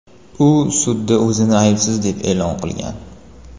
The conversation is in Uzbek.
U sudda o‘zini aybsiz deb e’lon qilgan.